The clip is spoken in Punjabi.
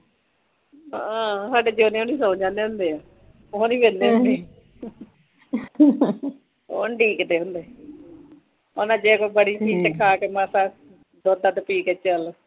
ਹਾਂ ਸਾਡੇ ਜੋਧੇ ਹੁਣੀ ਸੋ ਜਾਂਦੇ ਹੁੰਦੇ ਆ ਉਹ ਨੀ ਵਹਿੰਦੇ ਹੁੰਦੇ ਉਹ ਨੀ ਡੀਕਦੇ ਹੁੰਦੇ ਉਹਨਾਂ ਜੇ ਕੋਈ ਬੜੀ ਚੀਜ਼ ਚੈੱਕ ਕਰਨਾ ਓਦੋ ਦੁੱਧ ਦਧ ਪੀਕੇ ਚਲੋ